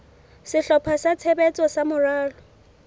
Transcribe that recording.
sehlopha sa tshebetso sa moralo